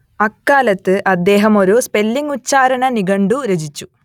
അക്കാലത്ത് അദ്ദേഹം ഒരു സ്പെല്ലിങ്ങ് ഉച്ചാരണ നിഘണ്ടു രചിച്ചു